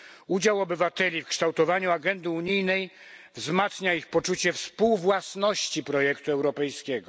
Udział obywateli w kształtowaniu agendy unijnej wzmacnia ich poczucie współwłasności projektu europejskiego.